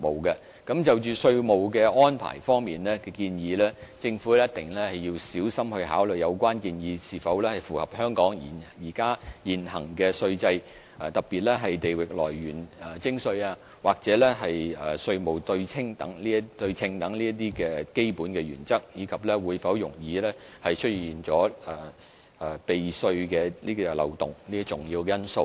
而就着稅務支援的建議，政府必須小心考慮有關建議是否符合香港現行稅制，特別是地域來源徵稅和稅務對稱等基本原則，以及會否容易出現避稅漏洞等重要因素。